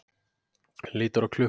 Lítur á klukkuna.